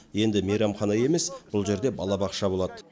енді мейрамхана емес бұл жерде балабақша болады